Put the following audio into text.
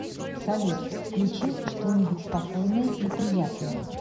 салют включи что нибудь спокойное и приятное